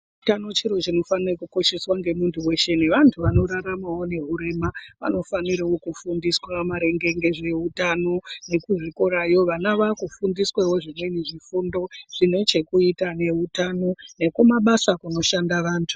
Hutano chiro chinokosheswa nemuntu weshe nevantu vanoraramawo nehurema vanofanawo kufundiswa maringe nezvehutano nekuzvikorawo vana vakudundiswawo zvefundo zvine chekuita nehutano nemabasa kunoshanda antu.